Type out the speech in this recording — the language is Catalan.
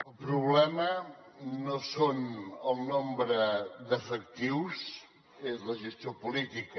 el problema no és el nombre d’efectius és la gestió política